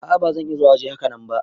A'a ba zan iya zuwa waje hakanan ba.